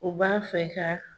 U b'a fɛ ka